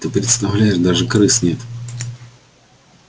ты представляешь даже крыс нет